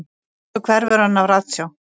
Svo hverfur hann af ratsjá.